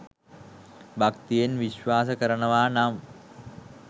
භක්තියෙන් විශ්වාස කරනවා නම්